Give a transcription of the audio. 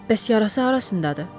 Bəs yarası harasındadır?